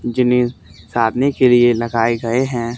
जिन्हें साधने के लिए लगाए गए हैं।